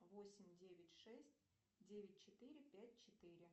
восемь девять шесть девять четыре пять четыре